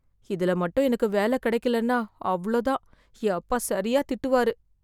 இதுல மட்டும் எனக்கு வேல கிடைக்கலனா அவ்வளவுதான் என் அப்பா சரியா திட்டுவாரு.